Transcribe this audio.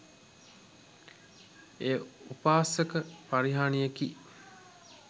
එය උපාසක පරිහානියකි.